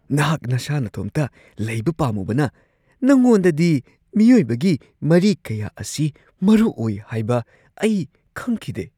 ꯅꯍꯥꯛ ꯅꯁꯥ ꯅꯇꯣꯝꯇ ꯂꯩꯕ ꯄꯥꯝꯃꯨꯕꯅ, ꯅꯉꯣꯟꯗꯗꯤ ꯃꯤꯑꯣꯏꯕꯒꯤ ꯃꯔꯤ ꯀꯌꯥ ꯑꯁꯤ ꯃꯔꯨꯑꯣꯏ ꯍꯥꯏꯕ ꯑꯩ ꯈꯪꯈꯤꯗꯦ ꯫